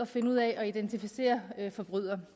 finde ud af at identificere forbrydere